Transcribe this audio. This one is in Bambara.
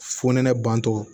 Fo nɛnɛ bantɔ